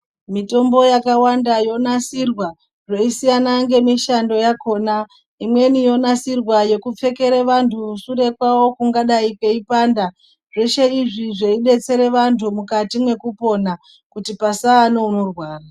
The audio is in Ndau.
Mitombo yakawanda yonasirwa yeisiyana ngemushando yakhona imweni yonasirwa yekupfekere vantu sure kwavo kungadai kweipanda zveshe izvi zveidetsere vantu mukati mwekupona kuti pasaa neunorwara.